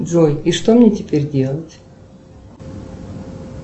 джой и что мне теперь делать